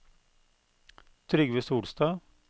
Trygve Solstad